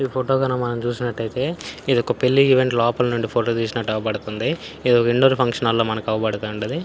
ఈ ఫోటో గని మనం చుసిన్నట్టయితే ఇదొక పెళ్లి ఈవెంట్ లోపల నుండి ఫోటో తీసినట్టు అవుపడతంది. ఇదొక విండోర్ ఫంక్షన్ హాల్ ల అవుపడుతుంది.